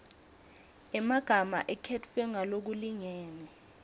emagama akhetfwe ngalokulingene